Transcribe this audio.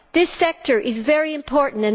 This sector is very important.